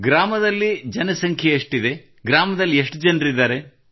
ಗ್ರಾಮದಲ್ಲಿ ಜನಸಂಖ್ಯೆ ಎಷ್ಟಿದೆ ಗ್ರಾಮದಲ್ಲಿ ಎಷ್ಟು ಜನರಿದ್ದಾರೆ